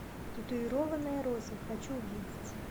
татуированная роза хочу увидеть